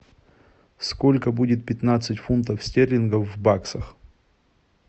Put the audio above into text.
сколько будет пятнадцать фунтов стерлингов в баксах